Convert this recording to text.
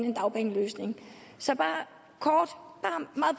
en dagpengeløsning så